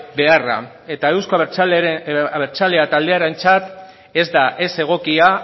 beharra eta euzko abertzaleak taldearentzat ez da ez egokia